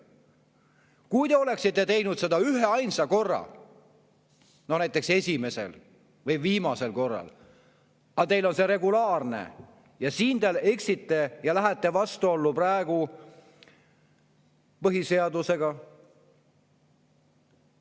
Kui te oleksite teinud seda üheainsa korra, näiteks esimesel või viimasel korral, aga teil on see regulaarne ja siin te eksite ja lähete vastuollu põhiseadusega.